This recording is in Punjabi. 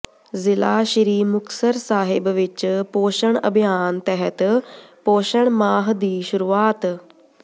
ਜ਼ਿਲਾ ਸ੍ਰੀ ਮੁਕਤਸਰ ਸਾਹਿਬ ਵਿਚ ਪੋਸ਼ਣ ਅਭਿਆਨ ਤਹਿਤ ਪੋਸ਼ਣ ਮਾਹ ਦੀ ਸ਼ੁਰੂਆਤ